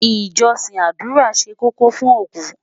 ìjósìn ádùrá ṣé kókó fún oku